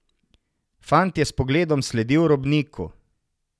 Fant je s pogledom sledil robniku.